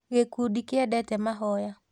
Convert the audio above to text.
Gĩkundi kĩendete mahoya